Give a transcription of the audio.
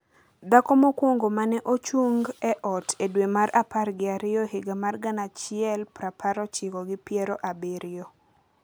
dhako mokwongo ma ne ochung’ e ot e dwe mar apar gi ariyo higa mar gana achiel prapar ochiko gi piero abiriyo .